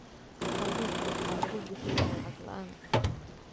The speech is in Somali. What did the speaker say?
Abuurka waxaa lagu bixiyaa lacag la'aan